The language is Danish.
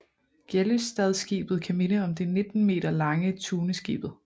Gjellestadskibet kan minde om det 19 meter lange Tuneskibet